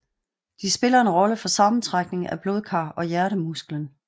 De spiller en rolle for sammentrækning af blodkar og hjertemusklen